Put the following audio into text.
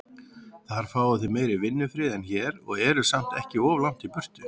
Þar fáið þið meiri vinnufrið en hér, og eruð samt ekki of langt í burtu.